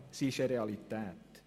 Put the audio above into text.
Sie ist eine Realität.